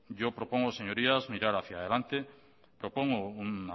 yo propongo señorías mirar hacia adelante propongo un